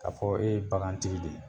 Ka fɔ e ye bakantigi de ye.